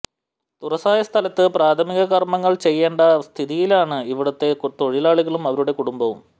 തുറസായ സ്ഥലത്ത് പ്രാഥമിക കര്മ്മങ്ങള് ചെയ്യണ്ട സ്ഥതിയിലാണ് ഇവിടുത്തെ തൊഴിലാളികളും അവരുടെ കുടുംബവും